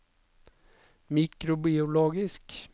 mikrobiologisk